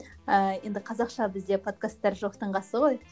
ыыы енді қазақша бізде подкастар жоқтың қасы ғой